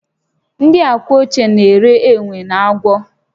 Ndị Awka ochie na-eri enwe na agwọ